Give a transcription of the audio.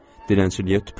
Dilənçiliyə tüpürüm.